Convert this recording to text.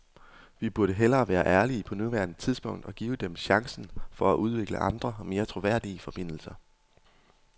Vi burde hellere være ærlige på nuværende tidspunkt og give dem chancen for at udvikle andre, mere troværdige forbindelser.